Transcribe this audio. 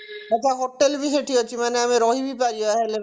ଆଛା hotel ବି ସେଠି ଅଛି ମାନେ ଆମେ ରହି ବି ପାରିବା ହେଲେ